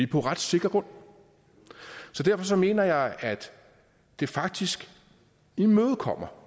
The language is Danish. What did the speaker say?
på ret sikker grund så derfor mener jeg at det faktisk imødekommer